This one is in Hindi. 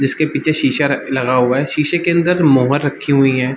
जिसके पीछे शीशा र लगा हुआ है शीशे के अंदर मोहर रखी हुई हैं।